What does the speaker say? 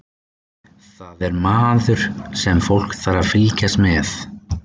Það er maður sem fólk þarf að fylgjast með.